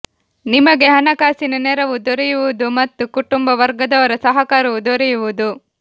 ನಿಮಗೆ ಹಣಕಾಸಿನ ನೆರವು ದೊರೆಯುವುದು ಮತ್ತು ಕುಟುಂಬ ವರ್ಗದವರ ಸಹಕಾರವೂ ದೊರೆಯುವುದು